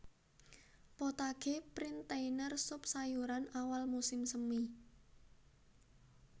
Potage Printanier sup sayuran awal musim semi